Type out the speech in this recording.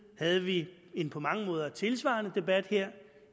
havde vi en på mange måder tilsvarende debat her